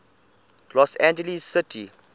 los angeles city